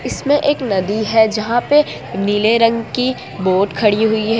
इसमें एक नदी है जहां पे नीले रंग की बोट खड़ी हुई है।